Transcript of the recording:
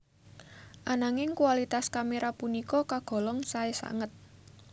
Ananging kualitas kamera punika kagolong sae sanget